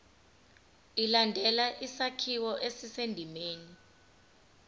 ilandele isakhiwo esisendimeni